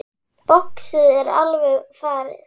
Boxið er alveg farið.